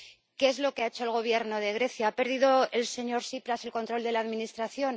¿Qué es lo que ha hecho el Gobierno de Grecia? ¿Ha perdido el señor Tsipras el control de la Administración?